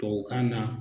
Tubabukan na